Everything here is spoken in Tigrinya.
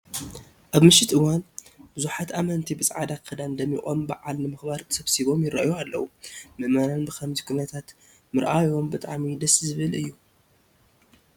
ኣብ ምሸት እዋን ብዙሓት ኣመንቲ ብፃዕዳ ክዳን ደሚቆም በዓል ንምኽባር ተሰብሲቦም ይርአዩ ኣለዉ፡፡ ምእመናን ብኸምዚ ኩነታት ምርኣዮም ብጣዕሚ ደስ ዝብል እዩ፡፡